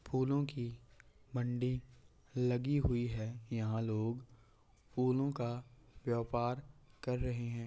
फूलों की मंडी लगी हुई है यहाँ लोग फूलों का व्यापार कर रहे है।